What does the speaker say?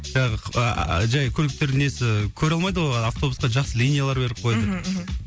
жаңағы жай көліктердің несі көре алмайды ғой автобусқа жақсы линиялар беріп қойды мхм